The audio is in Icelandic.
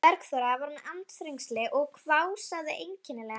Bergþóra var með andþrengsli og hvásaði einkennilega.